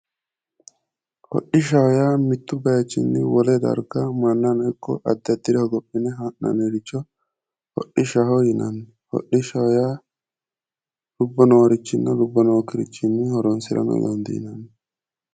Hodhishshaho yaa mittu baayiichinni wole darga mannano ikko addi addire hogophine ha'nanniricho hodhishshaho yinanni, hodhishsha yaa lubbo noorichinna lubbo nookkirichinni horonsira dandiineemmo.